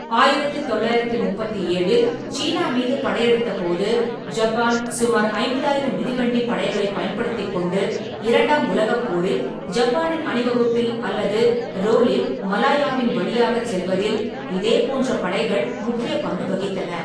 ஆயிரத்து தொள்ளாயிரத்தி முப்பத்தி ஏழில் சீனா மீது படையெடுத்தபோது, ஜப்பான் சுமார் ஐம்பதாயிரம் மிதிவண்டி படைகளைப் பயன்படுத்திக் கொண்டு இரண்டாம் உலகப் போரில் ஜப்பானின் அணிவகுப்பில் அல்லது 'ரோல்'-இல் மலாயாவின் வழியாகச் செல்வதில் இதே போன்ற படைகள் முக்கிய பங்கு வகித்தன.